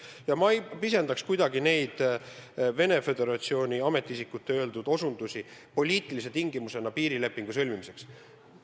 Ja ma ei pisendaks kuidagi Vene Föderatsiooni ametiisikute viidatud poliitilisi tingimusi piirilepingu sõlmimiseks.